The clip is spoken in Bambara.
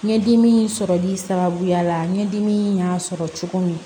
Ɲɛdimi in sɔrɔli sababuya la ɲɛdimi in y'a sɔrɔ cogo min